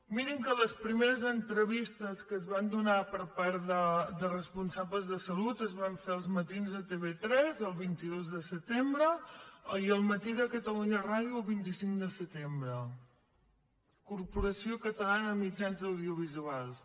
mi·rin que les primeres entrevistes que es van donar per part de responsables de salut es van fer a els matinsde tv3 el vint dos de setembre i a el matíràdio el vint cinc de setembre corporació catalana de mitjans audiovisuals